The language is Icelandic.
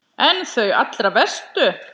En þau allra verstu?